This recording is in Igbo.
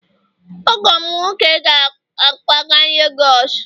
ọgọ m nwoke ga-akwaga Lagos